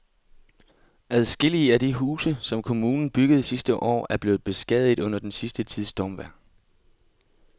Adskillige af de huse, som kommunen byggede sidste år, er blevet beskadiget under den sidste tids stormvejr.